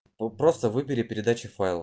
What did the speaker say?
о просто выборе передачи файлов